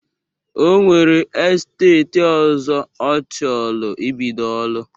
O nwere esteeti ọzọ ọ chọlụ ibido ọlụ.